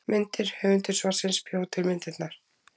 Myndir: Höfundur svarsins bjó til myndirnar.